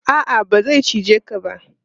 A'a, ba zai cije ka ba.